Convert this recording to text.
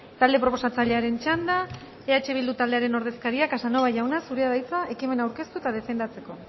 talde proposatzailearen txanda eh bildu taldearen ordezkaria casanova jauna zurea da hitza ekimena aurkeztu eta defendatzeko